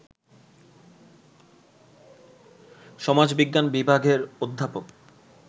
সমাজবিজ্ঞান বিভাগের অধ্যাপক